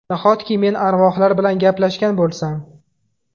Nahotki men arvohlar bilan gaplashgan bo‘lsam?